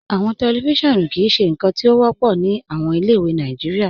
Awọn tẹlifíṣọ̀nù kìí ṣe nkan ti o wọpọ ni awọn ilẹ̀-ìwé Nàìjíríà.